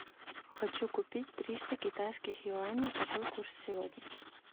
хочу купить триста китайских юаней какой курс сегодня